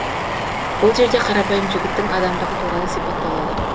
бұл жерде қарапайым жігіттің адамдығы туралы сипатталады